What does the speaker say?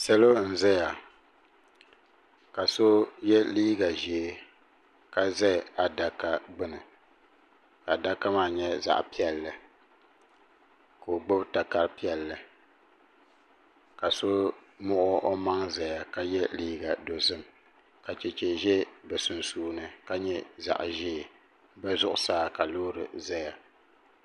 Salo n zaya ka so ye liiga ʒee ka za adaka gbinni adaka maa nyɛla zaɣa piɛlli ka o gbibi takara piɛlli ka so muɣi o maŋ zaya ka ye liiga dozim ka cheche ʒɛ bɛ sunsuuni ka nyɛ zaɣa ʒee bɛ zuɣusaa ka loori zaya.